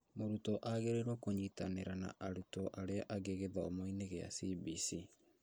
Mũrutwo agĩrĩirwo kũnyitanĩra na arutwo arĩa angĩ gĩthomo-inĩ kĩa CBC